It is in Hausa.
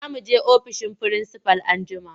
Za mu je ofishin firinsifal anjima.